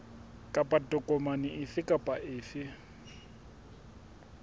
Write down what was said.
kapa tokomane efe kapa efe